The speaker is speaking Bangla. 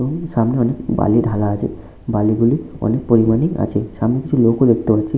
এবং সামনে অনেক বালি ঢালা আছে। বালি গুলি অনেক পরিমাণই আছে। সামনে কিছু লোকও দেখতে পাচ্ছি।